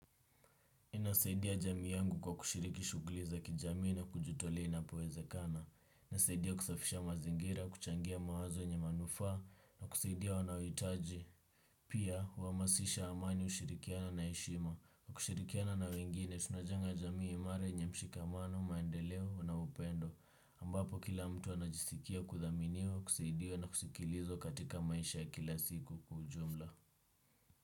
Inasaidia jamii yangu kwa kushiriki shuguli za kijamii na kujitolea inapowezekana. Nasaidia kusafisha mazingira, kuchangia mawazo yenye manufaa na kusaidia wanaohitaji. Pia, huhamasisha amani ushirikiano na heshima. Kushirikiana na wengine, tunajenga jamii imara yenye mshikamano, maendeleo na upendo. Ambapo kila mtu anajisikia kuthaminiwa, kusaidia na kusikilizwa katika maisha ya kila siku kwa ujumla.